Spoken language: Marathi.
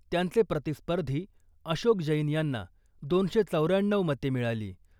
त्यांचे प्रतिस्पर्धी अशोक जैन यांना दोनशे चौर्याण्णऊ मते मिळाली